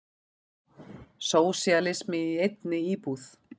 Sósíalismi í einni íbúð.